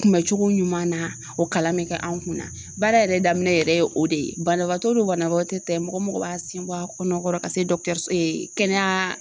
Kunbɛcogo ɲuman na o kalan be kɛ an kunna baara yɛrɛ daminɛ yɛrɛ o de ye banabaatɔ do banabagatɔ tɛ mɔgɔ mɔgɔ b'a sen bɔ a kɔnɔkɔrɔ ka se dɔkitɛriso ee kɛnɛyaa